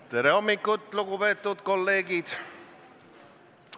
Tere hommikust, lugupeetud kolleegid!